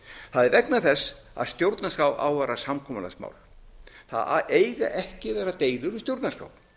það er vegna þess að stjórnarskrá á að vera samkomulagsmál það eiga ekki að vera deilur um stjórnarskrá